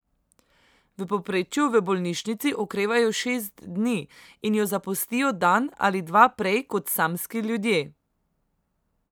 V povprečju v bolnišnici okrevajo šest dni in jo zapustijo dan ali dva prej kot samski ljudje.